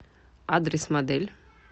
адрес модель